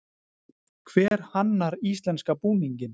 Hver hannar íslenska búninginn?